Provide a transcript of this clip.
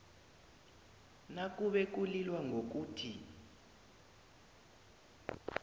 nakube kulilwa ngokuthi